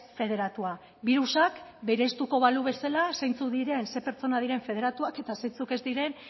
federatua birusak bereiztuko balu bezala zeintzuk diren ze pertsona diren federatuak eta zeintzuk ez diren